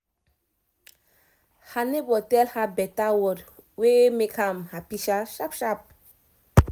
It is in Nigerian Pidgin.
her neighbor tell her better word wey make am happy sharp sharp